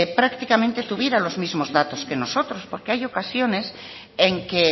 prácticamente tuviera los mismos datos que nosotros porque hay ocasiones en que